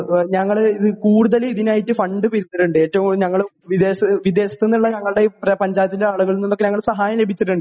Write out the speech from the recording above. ഞങ്ങൾ കൂടുതൽ ഇതിനായിട്ടു ഫണ്ട് പിരിച്ചിട്ടുണ്ട് . വിദേശത്തുന്നു ഞങ്ങളുടെ പഞ്ചായത്തിന്റെ ആളുകളിൽ നിന്നാണ് സഹായം ലഭിച്ചത്